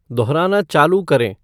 दोहराना चालू करें